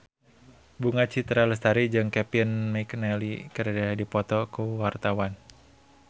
Bunga Citra Lestari jeung Kevin McNally keur dipoto ku wartawan